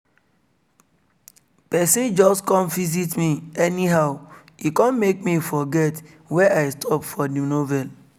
person just come visit me anyhow e come make me forget where i stop for the novel